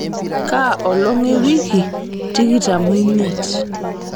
kaa olong' ewiki tikitam omiet